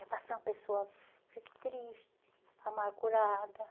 Era para ser uma pessoa triste, amargurada.